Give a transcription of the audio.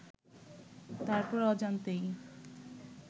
তারপরও অজান্তেই